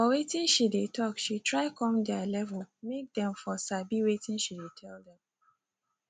for watin she dey talk she try come their level make them for sabi watin she dey tell them